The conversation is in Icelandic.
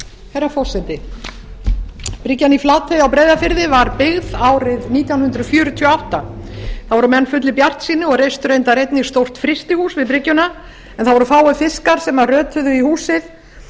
herra forseti bryggjan í flatey á breiðafirði var byggð árið nítján hundruð fjörutíu og átta þá voru menn fullir bjartsýni og reistu reyndar einnig stórt frystihús við bryggjuna en það voru fáir fiskar sem rötuðu í húsið